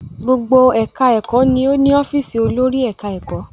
Gbogbo ẹ̀ka ẹ̀kọ́ ni ó ni ọ́fìsì olórí ẹ̀ka ẹ̀kọ́.